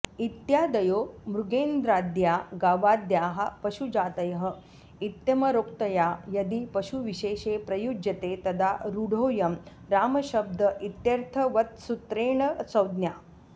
इत्यादयो मृगेन्द्राद्या गवाद्याः पशुजातयः इत्यमरोक्तया यदि पशुविशेषे प्रयुज्यते तदा रूढोऽयं रामशब्द इत्यर्थवत्सूत्रेण संज्ञा